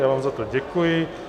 Já vám za to děkuji.